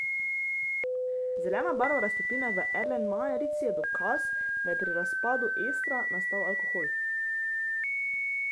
Zelena barva raztopine v erlenmajerici je dokaz, da je pri razpadu estra nastal alkohol.